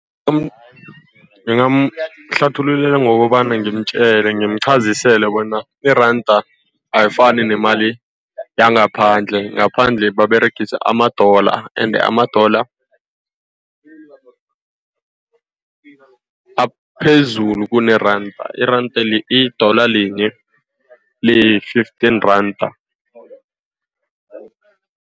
Ngingamhlathululela ngokobana ngimtjele ngimuqhazisele bona iranda ayifani nemali yangaphandle. Ngaphandle baberegisa amadola, ende amadolo aphezulu kuneranda. Iranda le, idola linye liyi-fifteen rand.